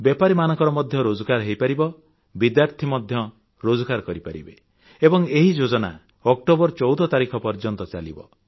ବେପାରୀମାନଙ୍କର ମଧ୍ୟ ରୋଜଗାର ହୋଇପାରିବ ବିଦ୍ୟାର୍ଥୀ ମଧ୍ୟ ରୋଜଗାର କରିପାରିବେ ଏବଂ ଏହି ଯୋଜନା ଅକ୍ଟୋବର ୧୪ ତାରିଖ ପର୍ଯ୍ୟନ୍ତ ଚାଲିବ